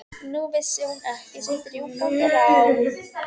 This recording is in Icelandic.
Nú vissi hún ekki sitt rjúkandi ráð.